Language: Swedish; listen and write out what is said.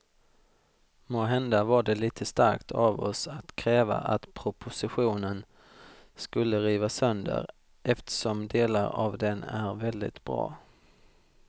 Måhända var det lite starkt av oss att kräva att propositionen skulle rivas sönder eftersom delar av den är väldigt bra.